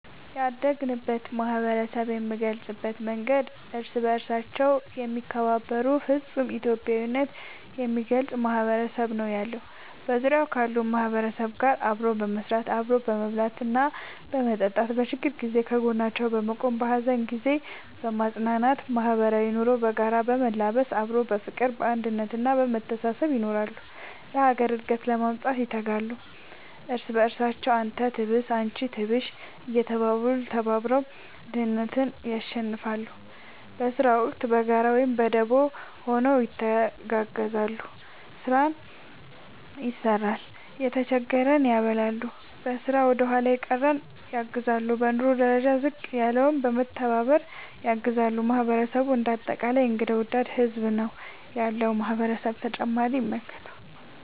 ያደግንበት ማህበረሰብ የምንገልፅበት መንገድ እርስ በርሳቸው የሚከባበሩ ፍፁም ኢትዮጵያዊነት የሚገልፅ ማህበረሰብ ነው ያለው። በዙሪያው ካሉ ማህበረሰብ ጋር አብሮ በመስራት፣ አብሮ በመብላትና በመጠጣት በችግር ጊዜ ከጎናቸው በመቆም በሀዘን ጊዜ በማፅናናት ማህበራዊ ኑሮ በጋራ በመላበስ አብሮ በፍቅር፣ በአንድነት እና በመተሳሰብ ይኖራሉ። ለሀገር እድገት ለማምጣት ይተጋሉ። እርስ በርሳቸው አንተ ትብስ አንቺ ትብሽ እየተባባሉ ተባብረው ድህነትን ያሸንፍለ። በስራ ወቅት በጋራ ወይም በደቦ ሆነው ይተጋገዛሉ ስራን ይሰራል የተጀገረን ያበላሉ፣ በስራ ወደኋላ የቀረን ያግዛሉ፣ በኑሮ ደረጃ ዝቅ ያለውን በመተባባር ያግዛሉ ማህበረሰቡ እንደ አጠቃላይ እንግዳ ወዳድ ህዝብ ነው ያለው ማህበረሰብ ።…ተጨማሪ ይመልከቱ